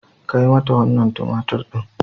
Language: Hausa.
Kai mata wannan tumatir din.